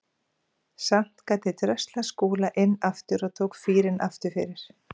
Samt gat ég dröslað Skúla inn aftur og tók fýrinn aftur fyrir.